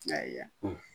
Ayi ya